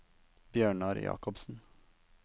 Bjørnar Jacobsen